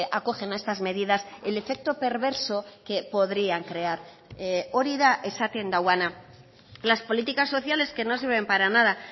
acogen a estas medidas el efecto perverso que podrían crear hori da esaten duena las políticas sociales que no se ven para nada